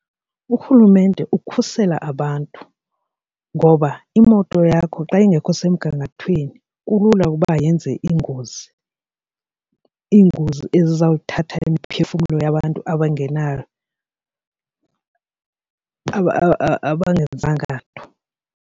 Urhulumente ukhusela abantu ngoba imoto yakho xa ingekho semgangathweni kulula ukuba yenze iingozi, iingozi ezizawuthatha imiphefumlo yabantu abangenzanga nto.